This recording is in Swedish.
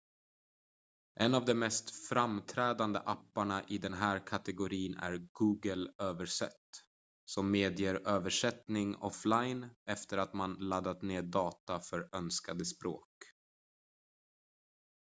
en av de mest framträdande apparna i den här kategorin är google översätt som medger översättning offline efter att man laddat ned data för önskade språk